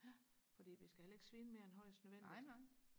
fordi vi skal heller ikke svine mere end højest nødvendigt